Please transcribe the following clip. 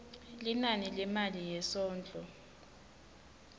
linani lemali yesondlo